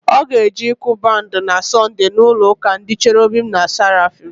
Ọ ga-eje ịkụ bandị na Sọnde n'ụlọụ́kà ndị Cherobim na Serafim.